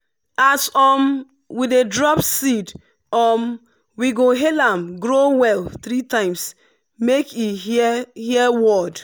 as um we dey drop seed um we go hail am “grow well” three times make e hear hear word.